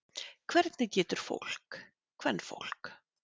Hvernig getur fólk. kvenfólk.